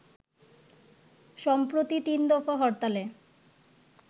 সম্প্রতি ৩ দফা হরতালে